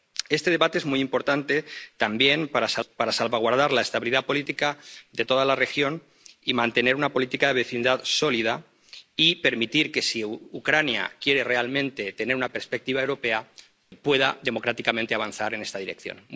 Este debate es muy importante también para salvaguardar la estabilidad política de toda la región, mantener una política de vecindad sólida y permitir que, si Ucrania quiere realmente tener una perspectiva europea, pueda democráticamente avanzar en esta dirección.